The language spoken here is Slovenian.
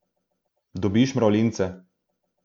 Dobiš mravljince.